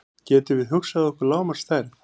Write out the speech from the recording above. Getum við hugsað okkur lágmarksstærð?